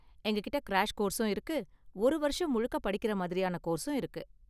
எங்ககிட்ட கிராஷ் கோர்ஸும் இருக்கு, ஒரு வருஷம் முழுக்க படிக்குற மாதிரியான கோர்ஸும் இருக்கு.